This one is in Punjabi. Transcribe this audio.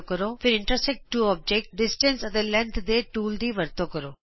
ਫਿਰ ਇੰਟਰਸੈਕਟ ਟੂ ਔਬਜੈਕਟਸ ਫਾਸਲੇ ਅਤੇ ਲੰਬਾਈ ਦੇ ਟੂਲਜ਼ ਦੀ ਵਰਤੋਂ ਕਰੋ